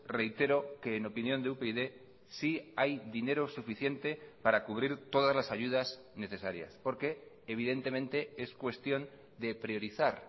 reitero que en opinión de upyd si hay dinero suficiente para cubrir todas las ayudas necesarias porque evidentemente es cuestión de priorizar